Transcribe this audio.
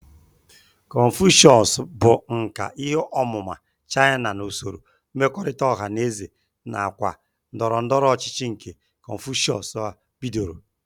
Kọnfushịọs bụ nkà ihe ọmụma China na usoro mmekọrịta ọha na eze nakwa ndọrọ ndọrọ ọchịchị nke Kọnfushịọs bidoro.